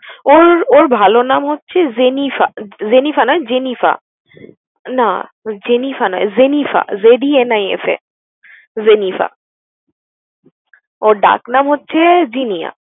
ওর ওর ভালো নাম হচ্ছে জেনিফা, যেনিফা নয় জেনিফা। না যেনিফা নয় Zenifa Z E N I F A Zenifa. ওর ডাক নাম হচ্ছে জিনিয়া।